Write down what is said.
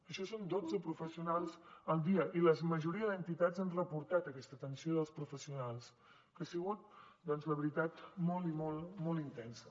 això són dotze professionals al dia i la majoria d’entitats han reportat aquesta atenció dels professionals que ha sigut doncs la veritat molt molt i molt intensa